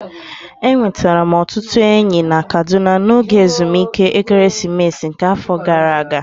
Enwetara m ọtụtụ enyi na Kaduna n'oge ezumike ekeresimesi nke afọ gara aga